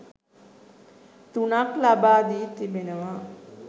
තුනක් ලබා දී තිබෙනවා.